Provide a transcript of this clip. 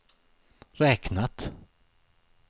räknat